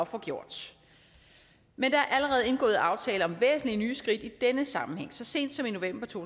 få gjort men der er allerede indgået aftaler om væsentlige nye skridt i denne sammenhæng nemlig så sent som i november to